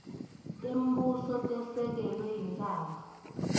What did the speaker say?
tembuso letesekele intsandvo